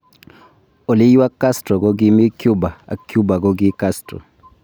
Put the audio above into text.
Oliywa Castro kokimi Cuba ak Cuba koki Castro.